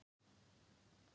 jólasveinar ganga um gátt